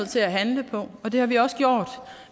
til at handle på og det har vi også gjort